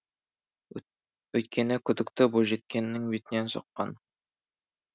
өйткені күдікті бойжеткеннің бетінен соққан